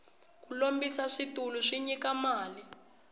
ku lombisa switulu swi nyika mali